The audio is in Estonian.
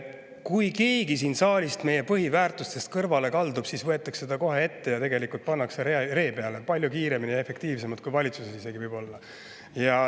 Kui keegi siin saalis meie põhiväärtustest kõrvale kaldub, siis võetakse ta kohe ette ja tõmmatakse ree peale, võib-olla isegi palju kiiremini ja efektiivsemalt kui valitsuses.